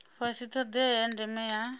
fhasi thodea ya ndeme ya